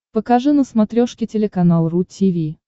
покажи на смотрешке телеканал ру ти ви